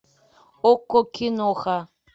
окко киноха